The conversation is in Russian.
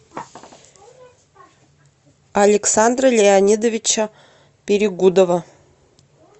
александра леонидовича перегудова